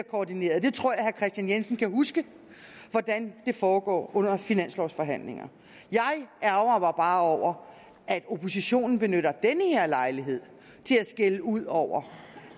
koordineret jeg tror herre kristian jensen kan huske hvordan det foregår under finanslovforhandlinger jeg ærgrer mig bare over at oppositionen benytter den her lejlighed til at skælde ud over